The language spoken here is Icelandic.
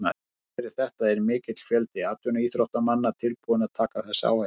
Þrátt fyrir þetta er mikill fjöldi atvinnuíþróttamanna tilbúinn að taka þessa áhættu.